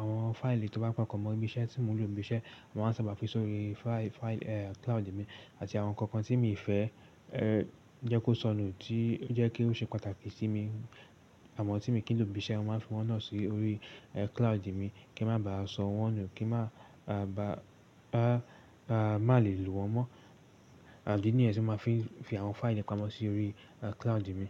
Àwọn fáìlì tí ó bá papọ̀ mọ́ ibi iṣẹ́ tí mò ń lò ibi iṣẹ́, màa ń sábà fi sórí fáìlì cloud mi àti àwọn ǹkan kan tí mi fẹ́ jẹ́ kó sọnù tí jẹ́ kí ó ṣe pàtàkì sí mi. Àwọn tí mo kì í lò ibi iṣẹ́, mo máa ń fi wọ́n náà sórí cloud mi kí wlmá bàá sọ wọ́n nù, kí ma ba mà lè lò wọ́n mọ́. Ìdí nìyẹn tí máa fi ń fi àwọn fáìlì mi pamọ́ sórí cloud mi.